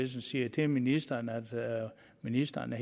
så siger til ministeren at ministeren er